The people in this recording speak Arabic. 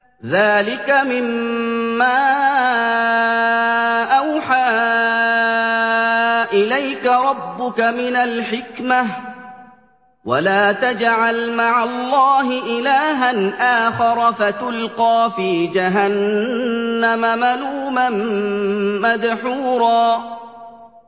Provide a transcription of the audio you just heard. ذَٰلِكَ مِمَّا أَوْحَىٰ إِلَيْكَ رَبُّكَ مِنَ الْحِكْمَةِ ۗ وَلَا تَجْعَلْ مَعَ اللَّهِ إِلَٰهًا آخَرَ فَتُلْقَىٰ فِي جَهَنَّمَ مَلُومًا مَّدْحُورًا